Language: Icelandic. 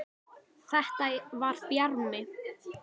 Þetta var Bjarmi!